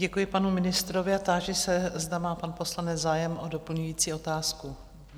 Děkuji panu ministrovi a táži se, zda má pan poslanec zájem o doplňující otázku.